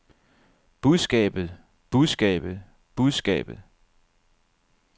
budskabet budskabet budskabet